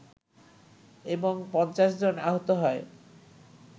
এবং ৫০ জন আহত হয়